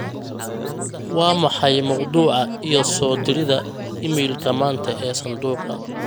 waa maxay mawduuca iyo soo dirida iimaylka maanta ee sanduuqa